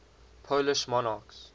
polish monarchs